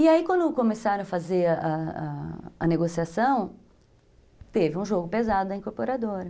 E aí, quando começaram a fazer a a a negociação, teve um jogo pesado da incorporadora.